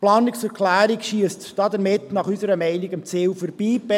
Die Planungserklärung schiesst damit, unserer Meinung nach, am Ziel vorbei.